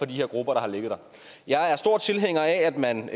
de her grupper jeg er stor tilhænger af at man